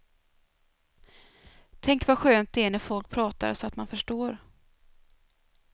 Tänk vad skönt det är när folk pratar så att man förstår.